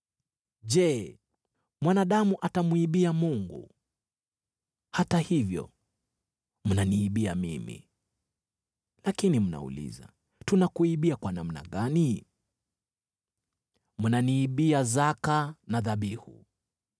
“Je, mwanadamu atamwibia Mungu? Hata hivyo mnaniibia mimi. “Lakini mnauliza, ‘Tunakuibia kwa namna gani?’ “Mnaniibia zaka na dhabihu.